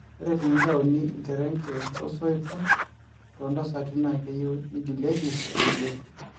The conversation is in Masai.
ore tenitauni ilterenge o soitok too ntasati na keyieu nigilieki irkulie